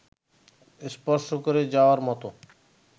স্পর্শ-করে-যাওয়ার মতো